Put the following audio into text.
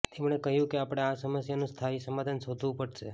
તેમણે કહ્યું કે આપણે આ સમસ્યાનું સ્થાયી સમાધાન શોધવું પડશે